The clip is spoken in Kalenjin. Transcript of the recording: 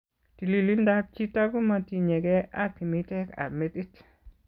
Tililindab chiito komatinyekei ak kimiteek ab metit